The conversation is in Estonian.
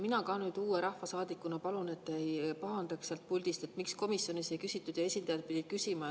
Mina ka uue rahvasaadikuna palun, et te ei pahandaks sealt puldist, miks komisjonis ei küsitud ja esindajad pidid küsima.